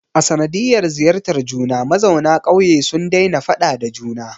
A sanadiyar ziyartar juna, mazauna ƙauye sun daina faɗa da juna